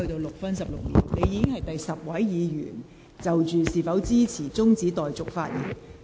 你已是第十位議員就是否支持中止待續議案發言。